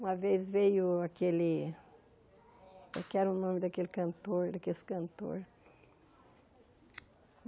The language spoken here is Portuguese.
Uma vez veio aquele... O que era o nome daquele cantor, daqueles cantores?